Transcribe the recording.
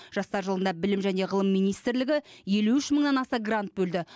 жастар жылында білім және ғылым министрлігі елу үш мыңнан аса грант бөлді